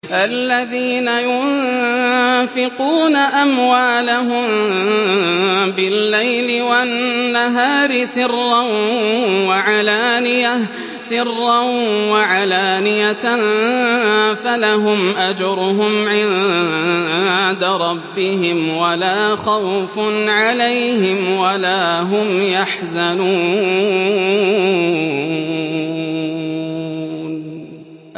الَّذِينَ يُنفِقُونَ أَمْوَالَهُم بِاللَّيْلِ وَالنَّهَارِ سِرًّا وَعَلَانِيَةً فَلَهُمْ أَجْرُهُمْ عِندَ رَبِّهِمْ وَلَا خَوْفٌ عَلَيْهِمْ وَلَا هُمْ يَحْزَنُونَ